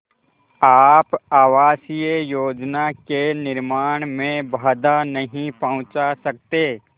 आप आवासीय योजना के निर्माण में बाधा नहीं पहुँचा सकते